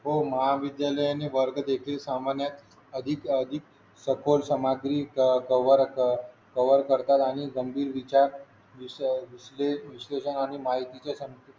हो महाविद्यालय आणि वर्ग देखील सामान्य अधिकाधिक सखोल समाधीचा वर्ग कव्हर करतात आणि गंभीर विचार विषय विश्लेषण माहितीचे